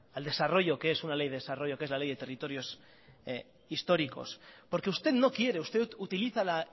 al desarrollo que es un ley de desarrollo que es la ley de territorios históricos porque usted no quiere usted utiliza la